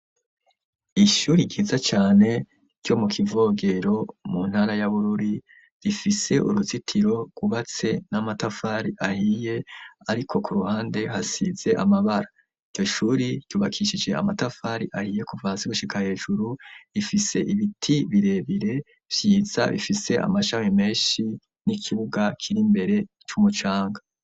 Ishuri ryiza cane ryo mu Kivogero mu ntara ya Bururi gifise uruzitiro rwubatse n'amatafari ahiye ariko ku ruhande hasize amabara, iryo shuri ryubakishije amatafari ahiye kuva hasi gushika hejuru, rifise ibiti birebire vyiza bifise amashami menshi n'ikibuga kiri imbere c'umucanga.